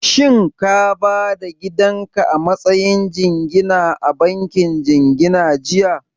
Shin ka ba da gidan ka a matsayin jingina a bankin jingina jiya?